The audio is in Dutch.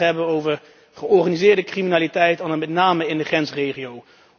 Ik wil het graag hebben over georganiseerde criminaliteit, en dan met name in de grensregio's.